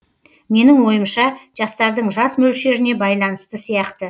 менің ойымша жастардың жас мөлшеріне байланысты сияқты